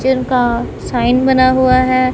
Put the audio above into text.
जिनका साइन बना हुआ है।